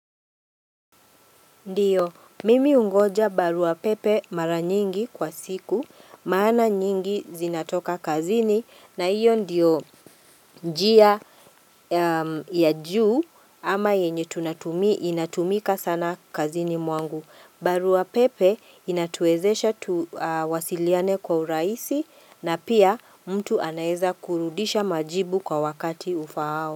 Ndio, mimi ungoja barua pepe mara nyingi kwa siku, maana nyingi zinatoka kazini na hiyo ndiyo njia ya juu ama yenye tunatumia inatumika sana kazini mwangu. Barua pepe inatuwezesha tuwasiliane kwa urahisi na pia mtu anaweza kurudisha majibu kwa wakati ufaao.